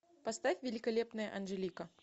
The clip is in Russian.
поставь великолепная анжелика